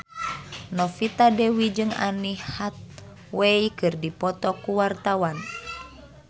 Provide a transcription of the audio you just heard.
Novita Dewi jeung Anne Hathaway keur dipoto ku wartawan